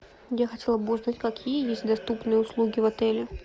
я хотела бы узнать какие есть доступные услуги в отеле